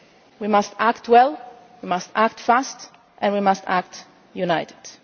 We must act well, we must act fast, and we must act unitedly.